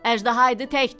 Əjdaha idi təkdir.